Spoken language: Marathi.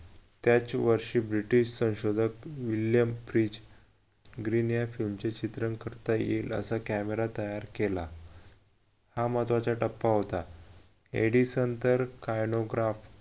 त्याच वर्षी british संशोधक green या फिल्म चे चित्रण करता येईल असा camera तयार केला हा महत्वाचा टप्पा होता एडिसन तर